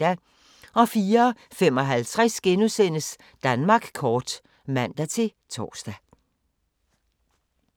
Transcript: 04:55: Danmark kort *(man-tor)